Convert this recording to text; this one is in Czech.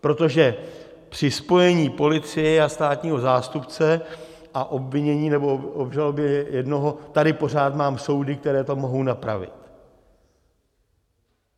Protože při spojení policie a státního zástupce a obvinění nebo obžalobě jednoho tady pořád mám soudy, které to mohou napravit.